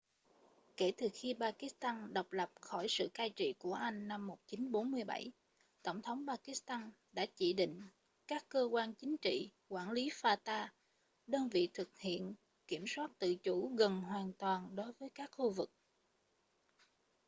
kể từ khi pakistan độc lập khỏi sự cai trị của anh năm 1947 tổng tống pakistan đã chỉ định các cơ quan chính trị quản lý fata đơn vị thực hiện kiểm soát tự chủ gần hoàn toàn đối với các khu vực